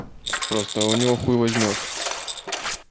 просто у него хуй возьмёшь